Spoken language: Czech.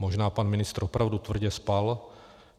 Možná pan ministr opravdu tvrdě spal.